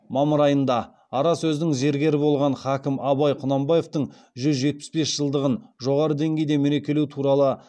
мамыр айында ара сөздің зергері болған хакім абай құнанбаевтың жүз жетпіс бес жылдығын жоғары деңгейде мерекелеу туралы